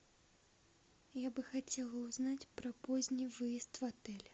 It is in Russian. я бы хотела узнать про поздний выезд в отеле